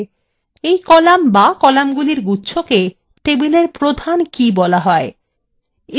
এই column বা কলাম্গুলির গুচ্ছকে table প্রধান key বলা হয়